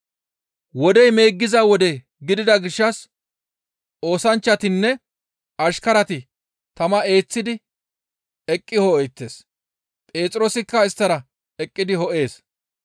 Wodey meeggiza wode gidida gishshas oosanchchatinne ashkarati tama eeththidi eqqi ho7eettes. Phexroosikka isttara eqqidi ho7ees.